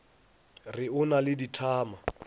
re o na le dithama